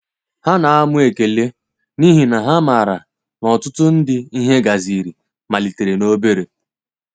Ha na amụ ekele, n’ihi na ha maara na ọtụtụ ndị ihe gaziri malitere n'obere.